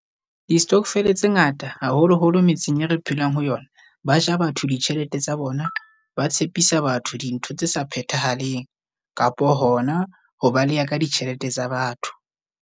Di-stokvel tse ngata haholoholo metseng e re phelang ho yona. Ba ja batho ditjhelete tsa bona, ba tshepisa batho dintho tse sa phethahaleng kapa hona ho baleya ka ditjhelete tsa batho.